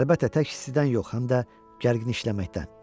Əlbəttə, tək istidən yox, həm də gərgin işləməkdən.